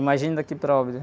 Imagine daqui para Óbidos...